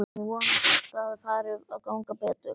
Ég vona samt að fari að ganga betur.